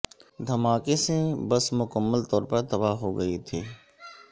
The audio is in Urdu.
دھماکے سے بس مکمل طور پر تباہ ہوگئی تھی